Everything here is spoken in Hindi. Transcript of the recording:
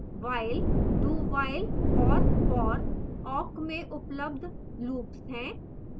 while dowhile और for awk में उपलब्ध loops हैं